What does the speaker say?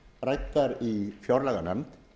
ræddar í fjárlaganefnd